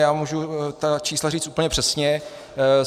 Já můžu ta čísla říct úplně přesně.